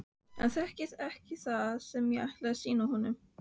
Hann þekkir ekki það sem ég ætla að sýna honum.